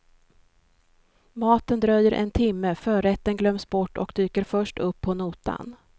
Maten dröjer en timme, förrätten glöms bort och dyker först upp på notan.